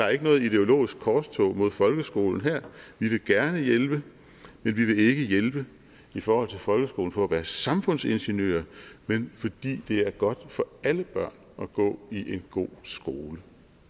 er noget ideologisk korstog mod folkeskolen vi vil gerne hjælpe men vi vil ikke hjælpe i forhold til folkeskolen for at være samfundsingeniører men fordi det er godt for alle børn at gå i en god skole